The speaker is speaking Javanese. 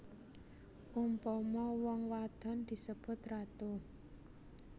Umpama wong wadon disebut ratu